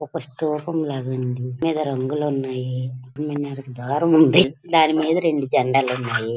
ఒక store room లాగా ఉంది. దీని మీద రంగులు ఉన్నాయి. దాన్ని మీద ద్వారము ఉన్నాది. దాని మీద రెండు జండాలు ఉన్నాయి.